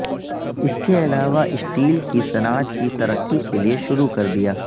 اس کے علاوہ سٹیل کی صنعت کی ترقی کے لئے شروع کر دیا